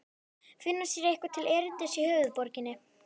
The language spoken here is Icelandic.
Finna sér eitthvað til erindis í höfuðborginni?